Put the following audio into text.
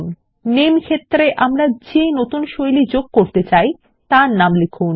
000525 000429 নামে ক্ষেত্রে আমরা যে নতুন শৈলীর পারি যোগ করতে চাই তার নাম লিখুন